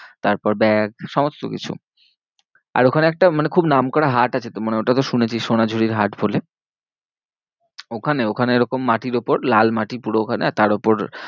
তারপর ব্যাগ সমস্তকিছু। আর ওখানে একটা খুব নাম করা হাট আছে তো মানে ওটা তো শুনেছিস সোনাঝুরির হাট বলে। ওখানে ওখানে এরকম মাটির উপর লাল মাটি পুরো ওখানে আর তার উপর